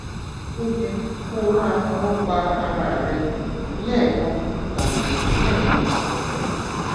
ó yẹ kó o máa fọwọ pa ara rẹ lẹẹkan tàbí lẹẹmejì lọsẹ